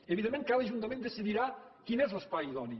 evidentment cada ajuntament decidirà quin és l’espai idoni